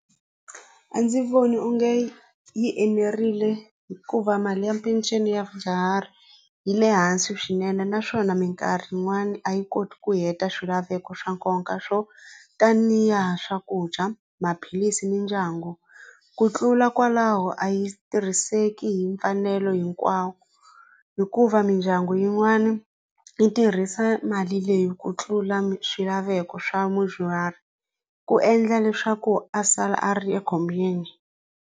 A ndzi voni onge yi enerile hikuva mali ya peceni ya vadyuhari yi le hansi swinene naswona mikarhi yin'wani a yi koti ku heta swilaveko swa nkoka swo tanihi swakudya, maphilisi, mindyangu ku tlula kwalaho a yi tirhiseki hi mfanelo hinkwawo hikuva mindyangu yin'wana yi tirhisa mali leyi ku tlula swilaveko swa mudyuhari ku endla leswaku a sala a ri ekhombyeni.